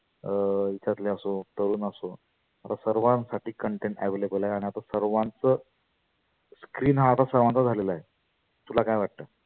अं याच्यातले तरुण असो. आता सर्वांसाठी content available आहे. आणि आता सर्वांच हा आता सर्वांचा झालेला आहे. तुला काय वाटतं?